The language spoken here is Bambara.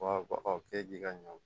k'e k'i ka ɲɔ